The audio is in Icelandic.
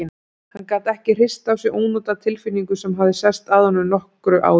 Hann gat ekki hrist af sér ónotatilfinningu sem hafði sest að honum nokkru áður.